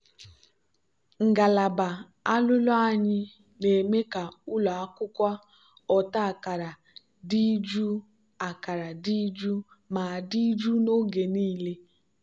ngalaba alụlụ anyị na-eme ka ụlọ akwụkwọ ọta akara dị jụụ akara dị jụụ ma dị jụụ n'oge niile.